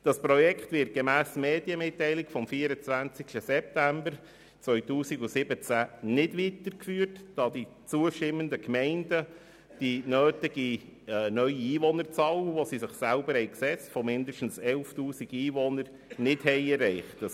Das Projekt wird gemäss Medienmitteilung vom 24. September 2017 nicht weitergeführt, da die zustimmenden Gemeinden die nötige neue Einwohnerzahl – die sie sich selbst gesetzt haben – von mindestens 11 000 neuen Einwohnern nicht erreicht haben.